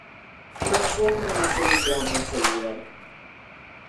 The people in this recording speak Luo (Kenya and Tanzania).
Machuok manyiso migawo moseyier